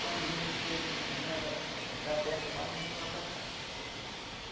Quando vimos que não ia dar dar certo mais, nós vimos morar para cá.